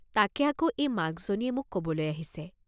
তাকে আকৌ এই মাক জনীয়ে মোক কবলৈ আহিছে।